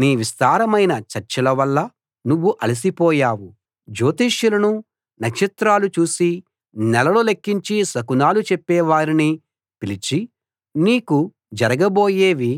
నీ విస్తారమైన చర్చల వలన నువ్వు అలసిపోయావు జ్యోతిష్యులనూ నక్షత్రాలు చూసి నెలలు లెక్కించి శకునాలు చెప్పేవారినీ పిలిచి నీకు జరగబోయేవి